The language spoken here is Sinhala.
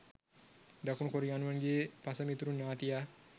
දකුණු කොරියානුවන්ගේ පසමිතුරු ඥාතියා